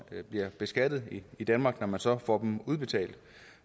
bliver beskattet i danmark når man så får pengene udbetalt